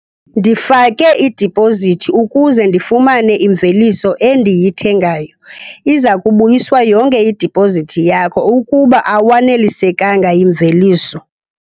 Ndifake idipozithi ukuze ndifumane imveliso endiyithengayo. Iza kubuyiswa yonke idipozithi yakho ukuba awanelisekanga yimveliso.